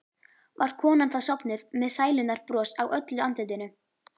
Var konan þá sofnuð með sælunnar bros á öllu andlitinu.